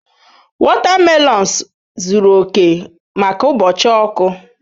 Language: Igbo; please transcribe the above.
Wotamelons zuru oke maka ụbọchị ọkụ.